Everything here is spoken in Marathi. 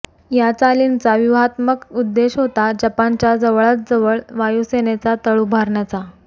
या चालींचा व्यूहात्मक उद्देश होता जपानच्या जवळातजवळ वायुसेनेचा तळ उभारण्याचा